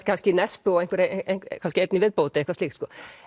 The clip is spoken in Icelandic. kannski Nesbø og kannski einn í viðbót eitthvað slíkt